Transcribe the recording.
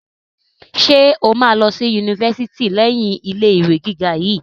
Ṣe o ma lọ sí yunifásítì leyin ilé ìwé gíga yìí?